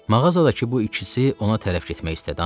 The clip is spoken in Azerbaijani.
Mağazadakı bu ikisi ona tərəf getmək istədi.